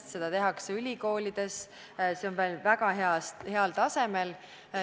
Baasteadust tehakse ülikoolides, see on meil väga heal tasemel.